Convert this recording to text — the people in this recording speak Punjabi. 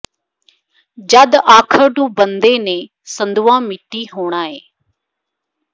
ਜਦ ਆਖਰ ਨੂੰ ਬੰਦੇ ਨੇ ਸੰਧੂਆ ਮਿੱਟੀ ਹੋਣਾ ਏ